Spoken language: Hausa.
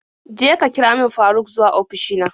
Je ka kira min Faruk zuwa ofishi na.